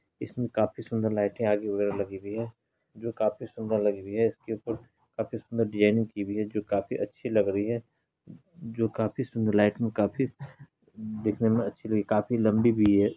इसमे काफी सुंदर लाइटे आगे वगैरा लगी हुई हैं जो काफी सुंदर लगी हुई हैं। इसके ऊपर काफी सुंदर डिज़ाइन की हुई हैं जो काफी अच्छी लग रही हैं जो काफी सुंदर लाइट काफी दिखने मे अच्छी लगी काफी लंबी भी हैं।